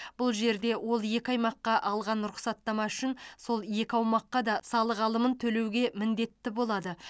бұл жерде ол екі аймаққа алған рұқсаттама үшін сол екі аумаққа да салық алымын төлеуге міндетті болады